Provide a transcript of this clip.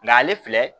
Nka ale filɛ